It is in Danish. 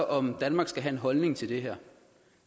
om danmark skal have en holdning til det